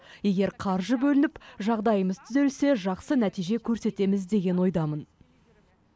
егер қаржы бөлініп жағдаймыз түзелсе жасқы нәтиже көрсетеміз деген ойдамын